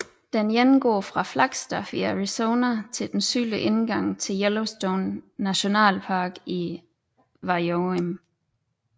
Den ene går fra Flagstaff i Arizona til den sydlige indgang til Yellowstone National Park i Wyoming